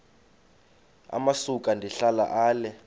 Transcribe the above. amasuka ndihlala ale